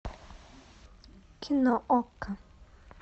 кино окко